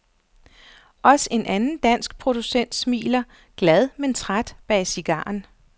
Også en anden dansk producent smiler, glad men træt bag cigaren.